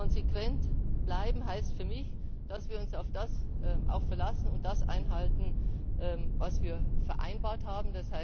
Konsequent bleiben heißt für mich, dass wir uns auf das verlassen und das einhalten, was wir vereinbart haben.